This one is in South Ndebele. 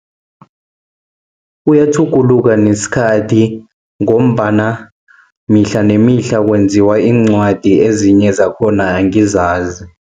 Kuyatjhuguluka nesikhathi, ngombana mihla nemihla kwenziwa iincwadi, ezinye zakhona angizazi.